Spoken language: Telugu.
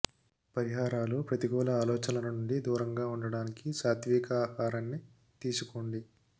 పరిహారాలుః ప్రతికూల ఆలోచనలు నుండి దూరంగా ఉండటానికి సాత్విక ఆహారాన్ని తీసుకోండి